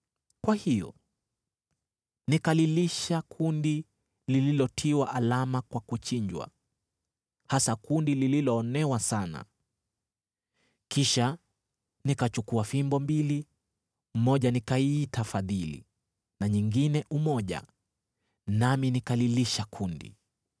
Kwa hiyo nikalilisha kundi lililotiwa alama kwa kuchinjwa, hasa kundi lililoonewa sana. Kisha nikachukua fimbo mbili, moja nikaiita Fadhili na nyingine Umoja, nami nikalilisha kundi.